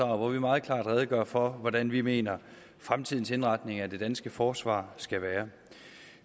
hvor vi meget klart redegør for hvordan vi mener fremtidens indretning af det danske forsvar skal være